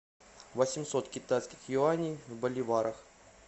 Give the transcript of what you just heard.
восемьсот китайских юаней в боливарах